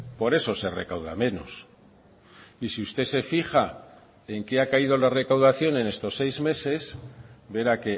por eso se recauda menos y si usted se fija en qué ha caído la recaudación en estos seis meses vera